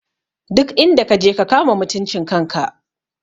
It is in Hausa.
Duk inda kaje ka kama mutuncin kan ka!